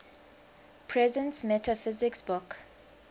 presence metaphysics book